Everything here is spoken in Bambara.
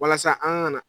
Walasa an ka na